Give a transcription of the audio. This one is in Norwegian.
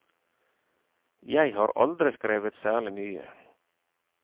Jeg har aldri skrevet særlig mye.